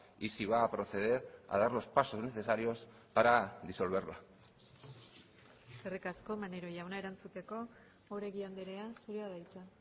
y si va a proceder a dar los pasos necesarios para disolverla eskerrik asko maneiro jauna erantzuteko oregi andrea zurea da hitza